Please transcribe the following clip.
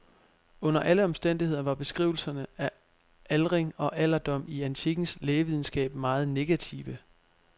Under alle omstændigheder var beskrivelserne af aldring og alderdom i antikkens lægevidenskab meget negative.